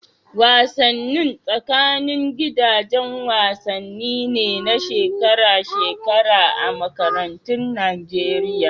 Wasannin tsakanin gidaje wasanni ne na shekara-shekara a makarantun Nageriya.